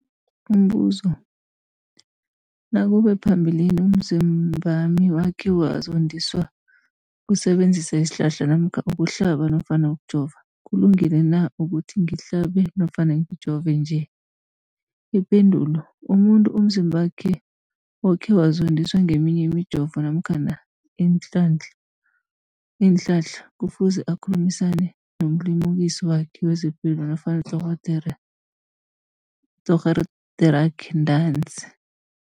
Umbuzo, nakube phambilini umzimbami wakhe wazondiswa kusebenzisa isihlahla namkha ukuhlaba nofana ukujova, kulungile na ukuthi ngihlabe nofana ngijove nje? Ipendulo umuntu umzimbakhe okhe wazondiswa ngeminye imijovo namkha iinhlahla kufuze akhulumisane nomlimukisi wakhe wezepilo nofana udorhoderakhe ntanzi.